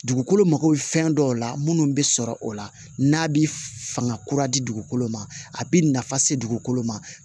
Dugukolo mako bɛ fɛn dɔw la munnu bɛ sɔrɔ o la n'a bɛ fanga kura di dugukolo ma a bɛ nafa se dugukolo ma